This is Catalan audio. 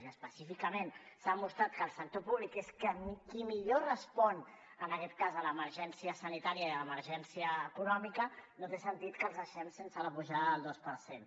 i específicament s’ha mostrat que el sector públic és qui millor respon en aquest cas a l’emergència sanitària i a l’emergència econòmica no té sentit que els deixem sense la pujada del dos per cent